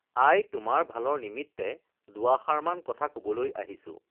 আই তোমাৰ ভালৰ নিমিত্তে দুআষাৰমান কথা কবলৈ আহিছোঁ